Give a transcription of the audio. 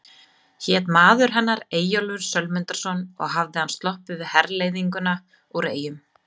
Hét maður hennar Eyjólfur Sölmundarson og hafði hann sloppið við herleiðinguna úr Eyjum.